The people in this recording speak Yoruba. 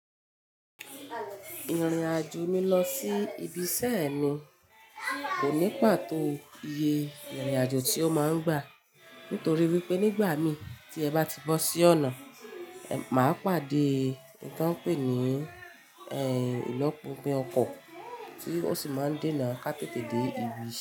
Ìrìn-àjò mi lọ sí ibi iṣẹ́ ẹ mi kò ní pàtó iye ìrìn-àjò tí ó máa ń gbà nítorí wípé nígbà mi tí ẹ bá ti bọ́ sí ọ̀nà, mà pàdé n tó ń pè ní ilopin ọkọ̀ tí ó sì máa ń de na ká tètè dé ibi iṣẹ́.